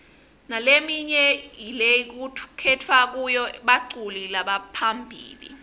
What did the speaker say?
nalemnye lekukhetfwa kuyo baculi lebaphambili